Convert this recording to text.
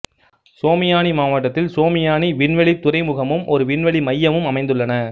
சோமியானி மாவட்டத்தில் சோமியானி விண்வெளித் துறைமுகமும் ஒரு விண்வெளி மையமும் அமைந்துள்ளன